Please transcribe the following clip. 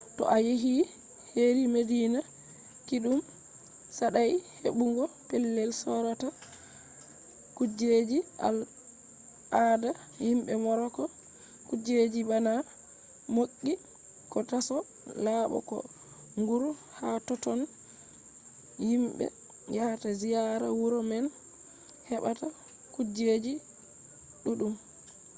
to a yehi heri madina kiɗɗum saɗai heɓugo pellel sorata kujeji al ada himɓe moroko kujeji bana ɓoggi ko taso laɓo ko nguru. hatotton himɓe yahata ziyara wuro man heɓata kujeji ɗuɗɗum